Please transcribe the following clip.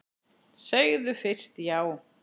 Segðu fyrst já!